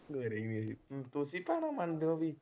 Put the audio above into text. ਮੇਰੇ ਵੀ ਤੁਸੀਂ ਭੈਣਾਂ ਮੰਨਦੇ ਹੋ ਵੀ।